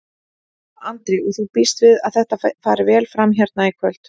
Andri: Og þú býst við að þetta fari vel fram hérna í kvöld?